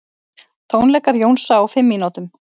Tónleikar Jónsa á fimm mínútum